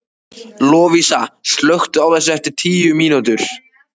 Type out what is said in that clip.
Lovísa, slökktu á þessu eftir tíu mínútur.